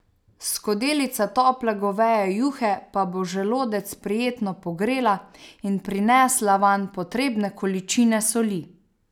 Skodelica tople goveje juhe pa bo želodec prijetno pogrela in prinesla vanj potrebne količine soli.